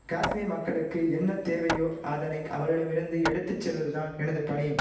காஷ்மீர் மக்களுக்கு என்ன தேவையோ அதனை அவர்களிடம் இருந்து எடுத்து செல்வதுதான் எனது பணி